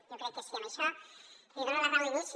jo crec que sí en això li dono la raó d’inici